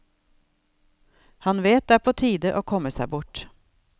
Han vet det er på tide å komme seg bort.